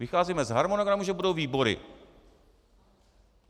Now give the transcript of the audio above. Vycházíme z harmonogramu, že budou výbory.